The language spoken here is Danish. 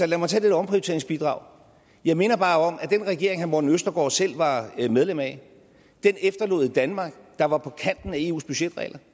lad mig tage omprioriteringsbidraget jeg minder bare om at den regering herre morten østergaard selv var medlem af efterlod et danmark der var på kanten af eus budgetregler